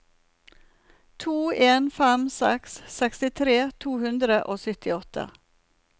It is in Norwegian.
to en fem seks sekstitre to hundre og syttiåtte